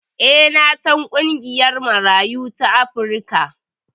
E, na san ƙungiyar Marayu ta Afrika.